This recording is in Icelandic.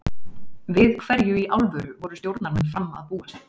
Við hverju í alvöru voru stjórnarmenn Fram að búast?